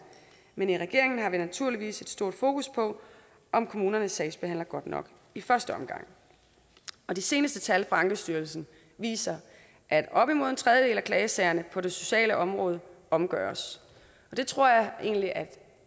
men i regeringen har vi naturligvis et stort fokus på om kommunerne sagsbehandler godt nok i første omgang de seneste tal fra ankestyrelsen viser at op mod en tredjedel af klagesagerne på det sociale område omgøres det tror jeg egentlig at